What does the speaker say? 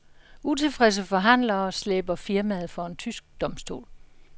Utilfredse forhandlere slæber firmaet for en tysk domstol.